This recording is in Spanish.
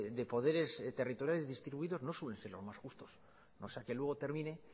de poderes territoriales distribuidos no suelen ser los más justos no sea que luego termine